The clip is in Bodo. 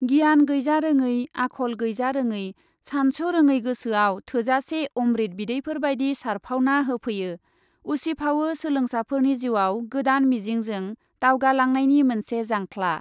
गियान गैजारोङै आखल गैजारोङै सानस' रोङै गोसोआव थोजासे अमब्रिद बिदैफोरबादि सारफावना होफैयो, उसिफावो सोलोंसाफोरनि जिउआव गोदान मिजिंजों दावगालांनायनि मोनसे जांख्ला ।